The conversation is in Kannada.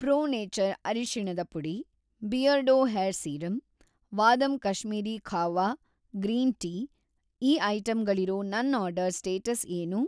ಪ್ರೋ ನೇಚರ್ ಅರಿಶಿಣದ ಪುಡಿ, Beardo hair serum, Vahdam Kashmiri kahwa green tea ಈ ಐಟಂಗಳಿರೋ ನನ್‌ ಆರ್ಡರ್‌ ಸ್ಟೇಟಸ್‌ ಏನು?